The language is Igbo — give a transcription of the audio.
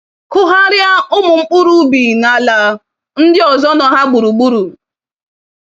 Kụgharia umu mkpụrụ ubi n'ala ndị ozo nọ ha gburugburu.